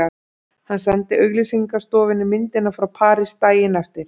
Hann sendi auglýsingastofunni myndirnar frá París daginn eftir.